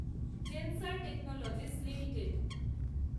Zensar Technologies limited